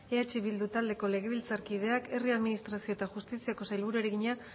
eh bildu taldeko legebiltzarkideak herri administrazio eta justiziako sailburuari egina